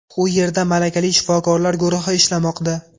U yerda malakali shifokorlar guruhi ishlamoqda.